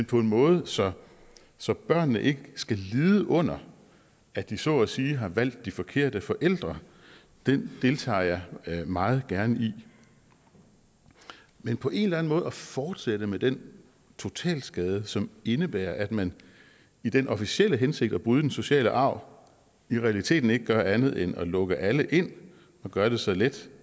på en måde så så børnene ikke skal lide under at de så at sige har valgt de forkerte forældre deltager jeg meget gerne i men på en eller anden måde at fortsætte med den totalskade som indebærer at man i den officielle hensigt at bryde den sociale arv i realiteten ikke gør andet end at lukke alle ind og gøre det så let